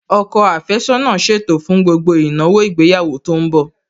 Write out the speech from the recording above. Ọkọ àfẹ́sọ́nà ṣètò fún gbogbo ìnáwó ìgbéyàwó tó ń bọ̀